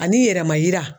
Ani yɛrɛma yira